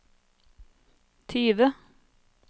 tyve